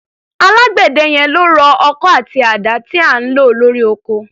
Alágbẹ̀dẹ yẹn ló rọ ọkọ́ àti àdá tí à ń lò lórí oko.